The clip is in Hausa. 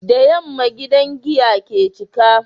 Da yamma gidan giya ke cika